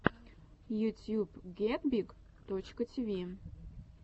ютьюб гетбиг точка тиви